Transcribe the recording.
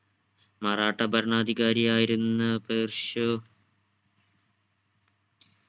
മറാട്ട ഭരണാധികാരിയായിരുന്ന പെർശോ